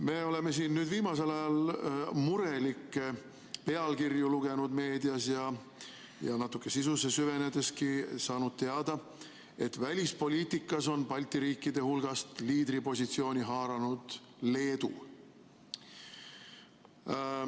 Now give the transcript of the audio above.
Me oleme siin viimasel ajal lugenud murelikke pealkirju meedias ja natuke sisusse süvenedes saanud teada, et välispoliitikas on Balti riikide hulgast liidripositsiooni haaranud Leedu.